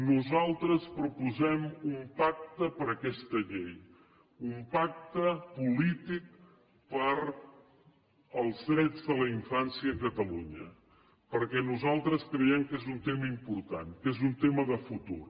nosaltres proposem un pacte per a aquesta llei un pacte polític per als drets de la infància a catalunya perquè nosaltres creiem que és un tema important que és un tema de futur